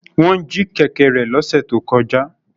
Wọ́n jí kẹ̀kẹ́ rẹ̀ lọ́sẹ̀ tó kọjá